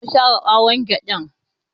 Sai sun tafi zamu share ɓawon gyaɗan